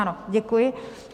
Ano, děkuji.